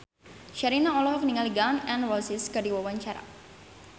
Sherina olohok ningali Gun N Roses keur diwawancara